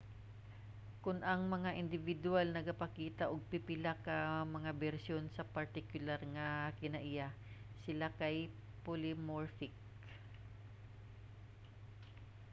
kon ang mga indibidwal nagapakita og pipila ka mga bersyon sa partikular nga kinaiya sila kay polymorphic